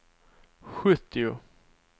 sjuttio